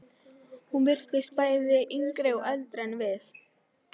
Hún virtist bæði yngri og eldri en við.